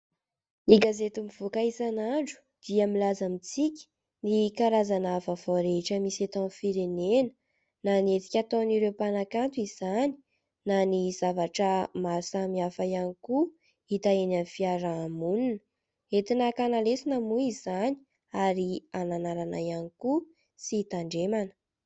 Gazety mivoaka isan'andro dia milaza amintsika ny karazana vaovao rehetra misy eto amin'ny firenena na ny hetsika ataon'ireo mpanakanto izany na ny zavatra maro samihafa ihany koa hita eny amin'ny fiaraha-monina. Entina hakana lesona moa izany ary hananarana ihany koa sy hitandremana.